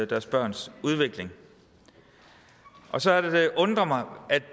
deres børns udvikling og så er det det undrer mig at vi